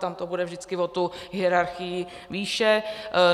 tam to bude vždycky o tu hierarchii výše.